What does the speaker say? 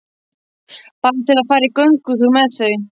Bara til að fara í göngutúr með þau.